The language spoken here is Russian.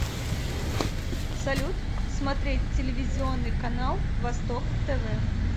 салют смотреть телевизионный канал восток тв